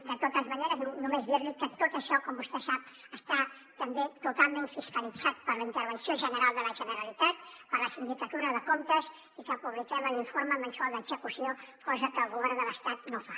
de totes maneres només dir li que tot això com vostè sap està també totalment fiscalitzat per la intervenció general de la generalitat per la sindicatura de comptes i que publiquem l’informe mensual d’execució cosa que el govern de l’estat no fa